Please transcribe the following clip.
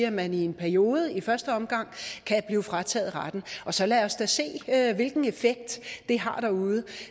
at man i en periode i første omgang kan blive frataget retten så lad os da se hvilken effekt det har derude